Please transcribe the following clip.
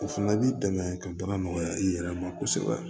O fana b'i dɛmɛ ka baara nɔgɔya i yɛrɛ ma kosɛbɛ